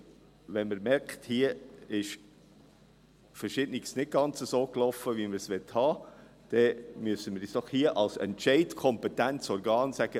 – Wenn man merkt, dass hier Verschiedenes nicht ganz so lief, wie man es haben wollte, müssen wir uns doch als entscheidungskompetentes Organ sagen: